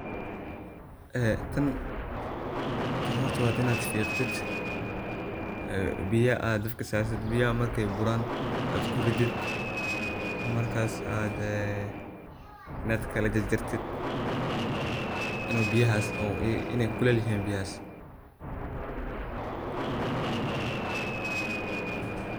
ee tan horta wa inad fiqdid ee biya ad dabka sartid biyaha markay buran ad kuridid markas ad dee nad kala jarjartid inay biyahaas kulel yihin biyahas